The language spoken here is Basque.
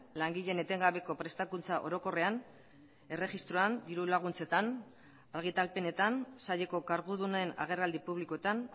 langileen etengabeko prestakuntza orokorrean erregistroan dirulaguntzetan argitalpenetan saileko kargudunen agerraldi publikoetan